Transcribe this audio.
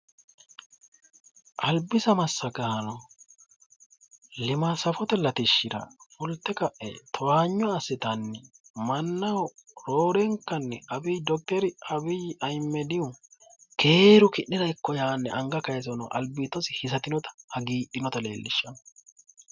albisa massagaano limaati safote latishshira fulte ka'e towaanyo assitanni mannaho roorenkanni dokiteri abiyi ahimedihu keeru ki'nera ikko yaanni anga kayiise albiidosi hisatinota hagiidhinota leellishshanno,